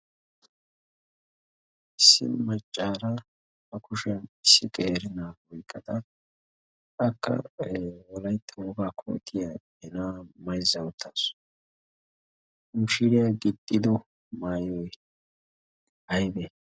issi maccaara ba kushiyan issi qeeri na7aa oiqqada akka wolaitta wogaa kootiya he na7aa maizza uttaasu. ha mishiiriyaa gixxido maayoi aibee?